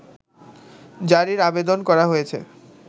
জারির আবেদন করা হয়েছে